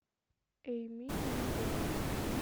эйми и ягуар